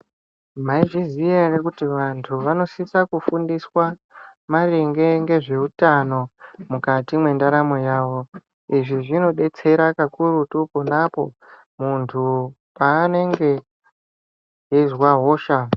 Maizviziva hre kuti vantu vanosiswa kufundiswa maringe nezveutano mukati mentaramo yavo izvi zvinobetsera kakurutu kunapo muntu paanenge achinzwa hosha.